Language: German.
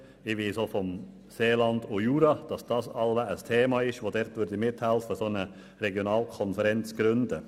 Ich weiss auch von der Region Seeland und Jura, dass eine solche Regionalkonferenz Thema ist und sie mithelfen würden, diese zu gründen.